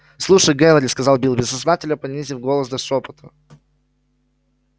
слушай генри сказал билл бессознательно понизив голос до шёпота